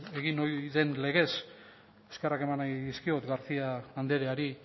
egin ohi den legez eskerrak eman nahi dizkiot garcía andreari